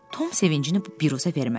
Tom sevincini bu biruzə vermədi.